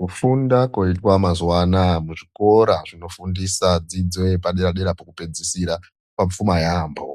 Kufunda koitwa mazuva anaya muzvikora zvinofundisa dzidzo yepadera-dera pokupedzisira kwapfuma yaamho.